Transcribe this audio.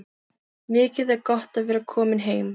Mikið er gott að vera komin heim!